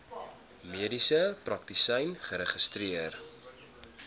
mediese praktisyn geregistreer